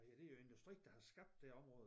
Hvad hedder det jo industri der har skabt det område